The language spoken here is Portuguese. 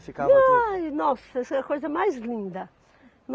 Ficava aqui. Ai, nossa, e foi a coisa mais linda.